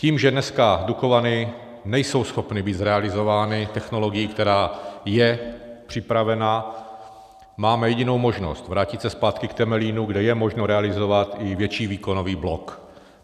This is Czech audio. Tím, že dneska Dukovany nejsou schopny být zrealizovány technologií, která je připravena, máme jedinou možnost, vrátit se zpátky k Temelínu, kde je možno realizovat i větší výkonový blok.